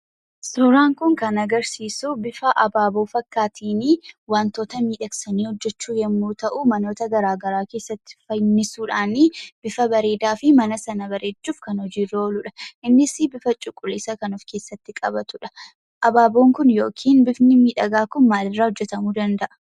Suuraan kun kan agarsiisuu bifa abaaboo fakkaateen wantoota miidhagsanii hojjechuu yemmuu ta'u, manoota garaa garaa keessatti fannisuudhaan, bifa bareedaan fi mana sana bareechuuf kan hojiirra ooluudha. Innis bifa cuquliisa kan of keessatti qabatuudha. Abaaboon kun yookiin bifni miidhagaan kun maal irraa hojjetamuu danda'a?